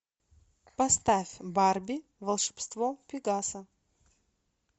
поставь барби волшебство пегаса